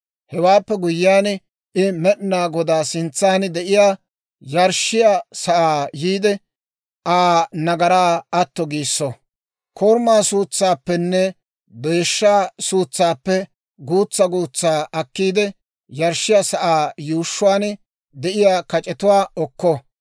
«Hewaappe guyyiyaan I Med'inaa Godaa sintsan de'iyaa yarshshiyaa sa'aa yiide Aa nagaraa atto giisso. Korumaa suutsaappenne deeshshaa suutsaappe guutsaa guutsaa akkiide, yarshshiyaa sa'aa yuushshuwaan de'iyaa kac'etuwaa okko.